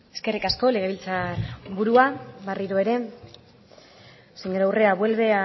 eskerrik asko legebiltzar burua berriro ere señora urrea vuelve